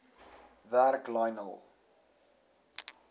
werk lionel